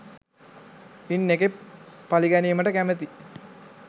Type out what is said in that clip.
ඉන් එකෙක් පළිගැනීමට කැමති